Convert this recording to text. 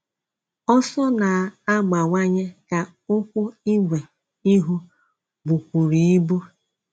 Ọsọ̀ na-agbawanye ka ụ̀kwụ́ ígwè ihu bùkwùrù ibu.